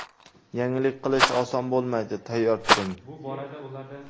Yangilik qilish oson bo‘lmaydi, tayyor turing.